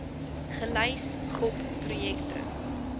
gelys gop projekte